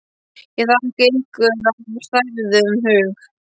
Ég þakka ykkur af hrærðum hug.